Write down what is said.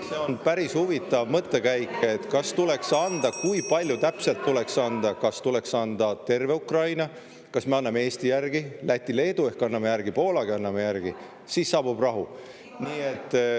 See on päris huvitav mõttekäik, et kas tuleks anda , kui palju täpselt tuleks anda, kas tuleks anda terve Ukraina, kas me anname Eesti järgi, Läti, Leedu ehk anname järgi, Poolagi anname järgi – siis saabub rahu.